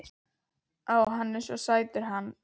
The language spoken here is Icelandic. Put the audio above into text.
Ó, hann er svo sætur hann